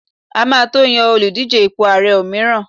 a ma to Yan Oludije ipo ààrẹ òmíràn